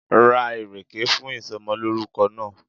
Ra ìrèkè fún ìsomolórúko náà